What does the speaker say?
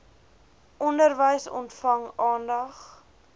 onderwys ontvang aandag